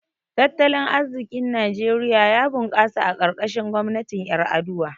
Tattalin arziƙin Najeriya ya bunkasa a karkashin gwamnatin Ƴar’aduwa.